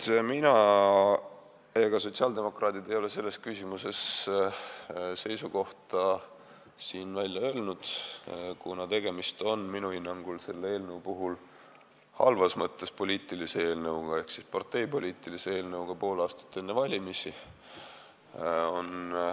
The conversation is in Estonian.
Ei mina ega sotsiaaldemokraadid ei ole siin selles küsimuses seisukohta välja öelnud, kuna minu hinnangul on selle eelnõu puhul tegemist halvas mõttes poliitilise eelnõuga ehk parteipoliitilise eelnõuga pool aastat enne valimisi.